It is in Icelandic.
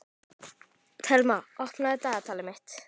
Thelma, opnaðu dagatalið mitt.